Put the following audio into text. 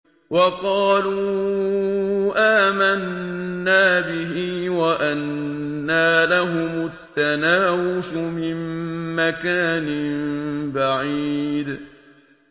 وَقَالُوا آمَنَّا بِهِ وَأَنَّىٰ لَهُمُ التَّنَاوُشُ مِن مَّكَانٍ بَعِيدٍ